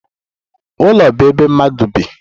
Ụlọ bụ ebe ndị mmadụ bi.